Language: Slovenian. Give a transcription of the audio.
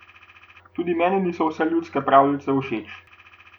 Tudi meni niso vse ljudske pravljice všeč.